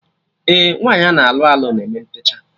Ee, nwaanyị ana alụ alụ na eme ntechaa